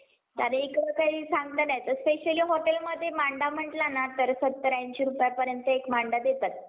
आणि इकडे काही सांगता येत नाही specially hotel मध्ये मांडा म्हणलं ना तर सत्तर ऐंशी रुपयांपर्यंत एक मांडा देतात.